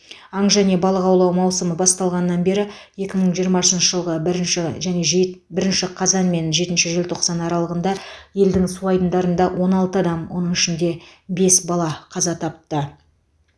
аң және балық аулау маусымы басталғаннан бері екі мың жиырмасыншы жылғы бірінші және жет бірінші қазан мен жетінші желтоқсан аралығында елдің су айдындарында он алты адам оның ішінде бес бала қаза тапты